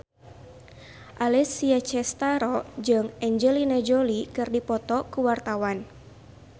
Alessia Cestaro jeung Angelina Jolie keur dipoto ku wartawan